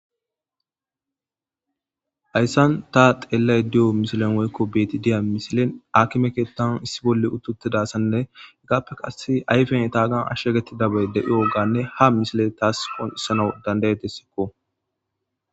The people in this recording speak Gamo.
Hayssan ta xeellay di7o misilen woykko beeti diya misilen akimeketan issi bolle uttutidassanne igappe qass ayfen taagan ashshegetti dabay deioganne ha misile taas foonissano dandayetessikko.